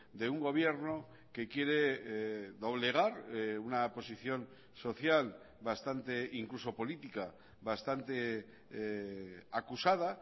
de un gobierno que quiere doblegar una posición social bastante incluso política bastante acusada